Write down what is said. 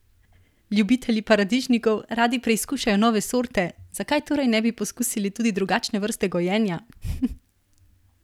Ljubitelji paradižnikov radi preizkušajo nove sorte, zakaj torej ne bi poskusili tudi drugačne vrste gojenja?